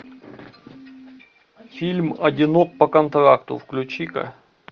фильм одинок по контракту включи ка